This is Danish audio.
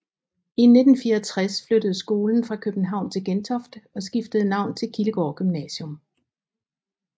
I 1964 flyttede skolen fra København til Gentofte og skiftede navn til Kildegård Gymnasium